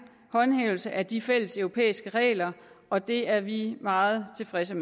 håndhævelse af de fælles europæiske regler og det er vi meget tilfredse